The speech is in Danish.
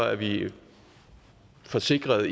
er vi forsikrede og